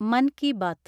Mann Ki Baat